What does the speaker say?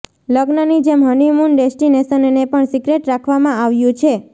લગ્નની જેમ હનીમૂન ડેસ્ટિનેશનને પણ સીક્રેટ રાખવામાં આવ્યું છે